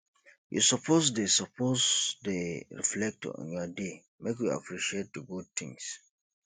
you suppose dey suppose dey reflect on your day make you appreciate di good things